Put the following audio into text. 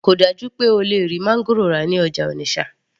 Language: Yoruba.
kò dájú pé o lè rí máńgòrò rà ní ọjà Onitsha